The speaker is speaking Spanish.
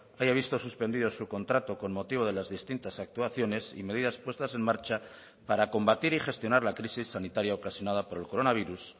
haya visto suspendido su contrato con motivo de las distintas actuaciones y medidas puestas en marcha para combatir y gestionar la crisis sanitaria ocasionada por el coronavirus